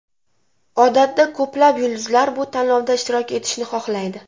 Odatda ko‘plab yulduzlar bu tanlovda ishtirok etishni xohlaydi.